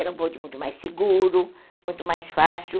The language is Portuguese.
Era um bonde muito mais seguro, muito mais fácil.